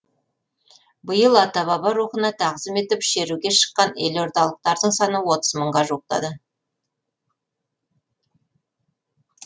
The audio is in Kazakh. биыл ата баба рухына тағзым етіп шеруге шыққан елордалықтардың саны мыңға жуықтады